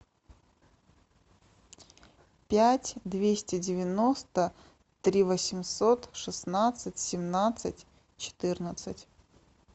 пять двести девяносто три восемьсот шестнадцать семнадцать четырнадцать